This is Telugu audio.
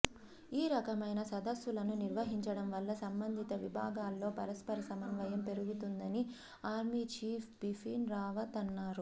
ఈ రకమైన సదస్సులను నిర్వహించడం వల్ల సంబంధిత విభాగాల్లో పరస్పర సమన్వయం పెరుగుతుందని ఆర్మీ చీఫ్ బిపిన్ రావత్ అన్నారు